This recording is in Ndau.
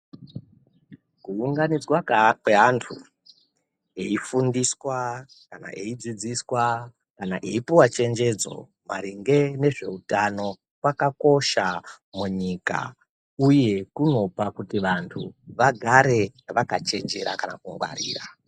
Kuunganidzwa peya kwevantu veifundiswa kana veidzidziswa kana kupuva chengedzo maringe nezveutano kwakakosha munyika uye kunoite kuti vantu vagare vakachenjera kana kungwara.